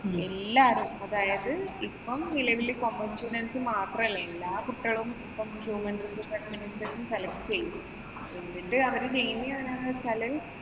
എല്ലാരും അതായത് ഇപ്പൊ നിലവില് മാത്രല്ല എല്ലാ കുട്ടികളും ഇപ്പം Human Resource Administration select ചെയ്യും. എന്നിട്ട് അവര് ചെയ്യുന്നത് എന്ത് വച്ചാല്